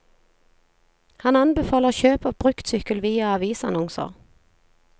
Han anbefaler kjøp av bruktsykkel via avisannonser.